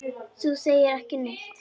Þú segir ekki neitt.